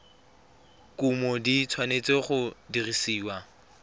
kumo di tshwanetse go dirisiwa